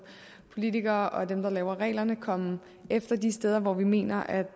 politikere og som dem der laver reglerne komme efter de steder hvor vi mener at